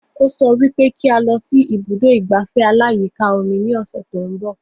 Ó sọ wípé kí a lọ sí ibùdó ìgbafẹ́ aláyíká omi ní ọ̀sẹ̀ tó ń bọ̀